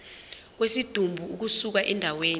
kwesidumbu ukusuka endaweni